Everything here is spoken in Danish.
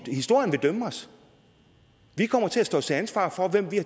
er historien vil dømme os vi kommer til at stå til ansvar for hvem vi